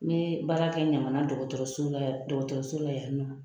N ye baarakɛ ɲamana dɔgɔtɔrɔso dɔgɔtɔrɔso la yan nɔ.